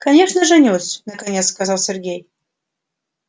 конечно женюсь наконец сказал сергей